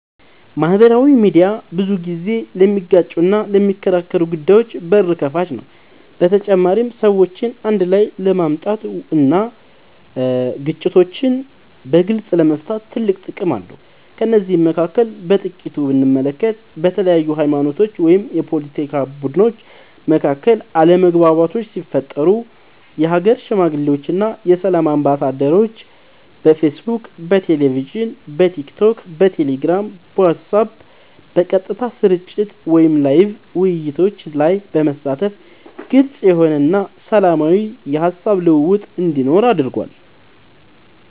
ማህበራዊ ሚድያ ብዙ ጊዜ ለሚጋጩና ለሚከራከሩ ጉዳዮች በር ከፋች ነው በተጨማሪም ሰዎችን አንድ ላይ ለማምጣት እና ግጭቶችን በግልፅ ለመፍታት ትልቅ ጥቅም አለው ከነዚህም መካከል በጥቂቱ ብንመለከት በተለያዩ ሀይማኖቶች ወይም የፓለቲካ ቡድኖች መካከል አለመግባባቶች ሲፈጠሩ የሀገር ሽማግሌዎች እና የሰላም አምባሳደሮች በፌስቡክ በቴሌቪዥን በቲክቶክ በቴሌግራም በዋትስአብ በቀጥታ ስርጭት ወይም ላይቭ ውይይቶች ላይ በመሳተፍ ግልፅ የሆነ እና ሰላማዊ የሀሳብ ልውውጥ እንዲኖር አድርጓል።